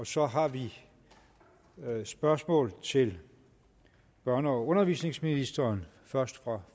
så har vi spørgsmål til børne og undervisningsministeren først fra